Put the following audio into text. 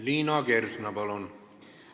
Liina Kersna, palun!